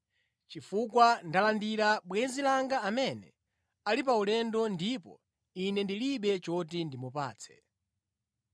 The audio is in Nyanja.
chifukwa ndalandira bwenzi langa amene ali pa ulendo ndipo ine ndilibe choti ndimupatse.’